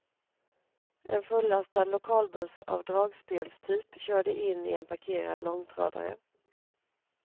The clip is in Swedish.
En fullastad lokalbuss av dragspelstyp körde in i en parkerad långtradare.